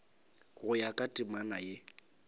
go ya ka temana ye